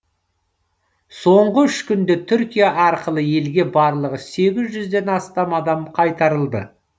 соңғы үш күнде түркия арқылы елге барлығы сегіз жүзден астам адам қайтарылды